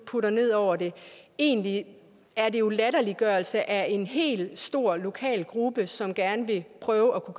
putter ned over det egentlig er det jo latterliggørelse af en hel stor lokal gruppe som gerne vil prøve at